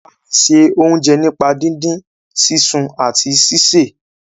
a lẹ ṣe oúnjẹ nípa didin, sisùn àti síse.